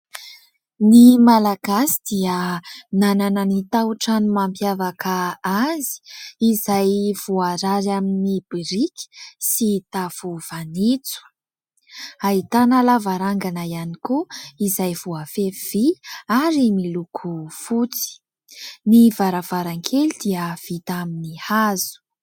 Ny malagasy dia nanana ny taotrano mampiavaka azy izay voarary amin'ny biriky sy tafo fanitso. Ahitana lavarangana ihany koa izay voafefy vỳ ary miloko fotsy. Ny varavarankely dia vita amin'ny hazo.